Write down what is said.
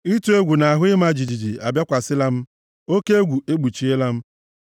Ịtụ egwu na ahụ ịma jijiji abịakwasịkwala m; oke egwu ekpuchiela m.